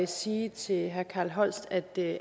sige til herre carl holst at det